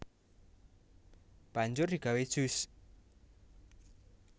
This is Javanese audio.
Banjur digawé jus